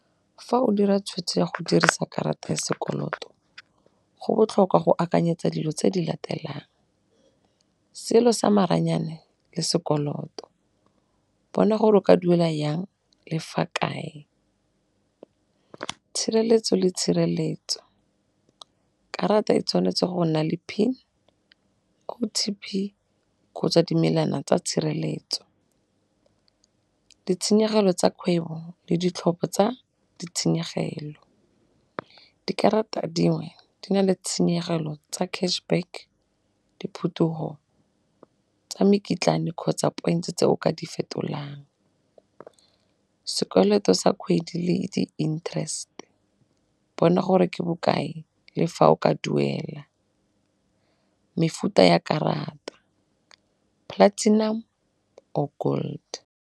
Fa o dira tshwetso ya go dirisa karata ya sekoloto go botlhokwa go akanyetsa dilo tse di latelang, selo sa maranyane le sekoloto, bona gore o ka duela jang le fa kae. Tshireletso le tshireletso, karata e tshwanetse go nna le PIN, O_T_P kgotsa dimelana tsa tshireletso. Ditshenyegelo tsa kgwebo le ditlhopho tsa ditshenyegelo, dikarata dingwe di nale tshenyegelo tsa cash back, diphetogo tsa mekitlane kgotsa point-e tse o ka di fetolang. Sekoloto sa kgwedi le di-interest bona gore ke bokae le fa o ka duela. Mefuta ya karata, platinum or gold.